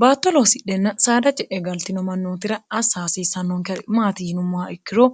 baatto loossidhenna saada je e galtino mannootira assa hasiissannonke maati yinummoa ikkiro